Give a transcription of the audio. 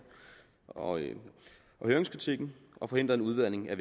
og høringskritikken og forhindret en udvanding af